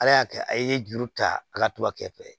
Ala y'a kɛ a ye juru ta a ka tubabu kɛ fɛ